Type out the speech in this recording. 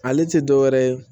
Ale tɛ dɔ wɛrɛ ye